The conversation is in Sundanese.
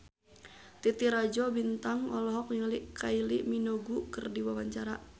Titi Rajo Bintang olohok ningali Kylie Minogue keur diwawancara